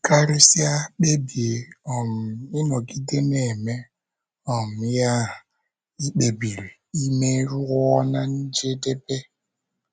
Karịsịa, kpebie um ịnọgide na - eme um ihe ahụ i kpebiri ime ruo ná njedebe.